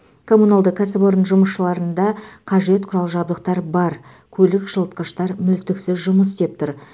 коммуналды кәсіпорын жұмысшыларында қажет құрал жабдықтар бар көлік жылытқыштар мүлтіксіз жұмыс істеп тұр